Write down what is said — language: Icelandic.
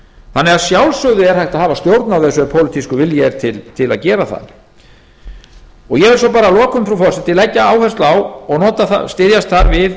þannig að sjálfsögðu er hægt að hafa stjórn á þessu ef pólitískur vilji er til að gera það ég vil svo að lokum frú forseti að leggja áherslu á og styðjast þar við